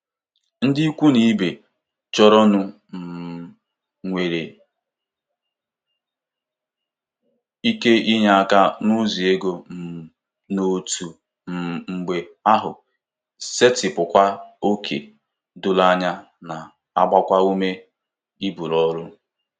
Ndị ikwu n'ibe chọrọnụ um nwere ike inye aka n'ụzọ ego um na otu um mgbe ahụ setịpụkwa ókè doro anya, na-agbakwa ume iburu ọrụ.